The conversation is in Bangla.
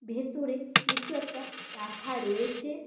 ভেতরে কিছু একটা রাখা রয়েছে।